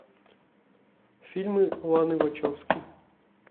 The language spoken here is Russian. фильмы ланы вачовски